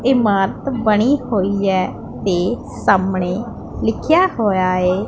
ਇਮਾਰਤ ਬਣੀ ਹੋਈ ਐ ਤੇ ਸਾਹਮਣੇ ਲਿਖਿਆ ਹੋਇਆ ਏ--